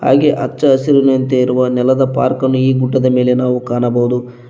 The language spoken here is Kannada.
ಹಾಗೆ ಅಚ್ಚ ಹಸಿರಿನಂತೆ ಇರುವ ನೆಲದ ಪಾರ್ಕ್ ಅನ್ನು ಈ ಗುಡ್ಡದ ಮೇಲೆ ನಾವು ಕಾಣಬಹುದು.